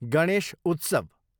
गणेश उत्सव